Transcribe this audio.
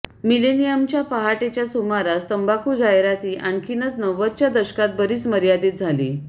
मिलेनियमच्या पहाटेच्या सुमारास तंबाखू जाहिराती आणखीनच नव्वदच्या दशकात बरीच मर्यादित झाली